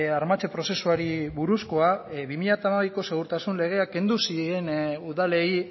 armatze prozesuari buruzkoa bi mila hamabiko segurtasun legeak kendu ziren udalei